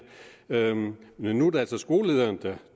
men nu er det altså skolelederen